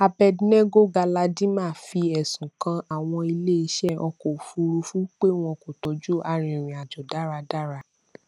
abednego galadima fi ẹsùn kan àwọn ilé iṣẹ ọkọ òfurufú pé wọn kò tọjú arìnrìnàjò dáradára